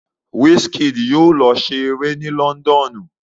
Wizkid yóò lọ se eré ni lọ́ńdọ́ọ̀nù.